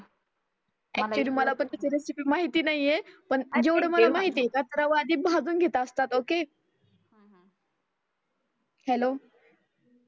Actually मला पण त्याची रेसिपी माहिती नाहीए. पण जेव्हढ माला माहिती आहे, रवा आधी भाजुन घेत असतात ओके हॉलो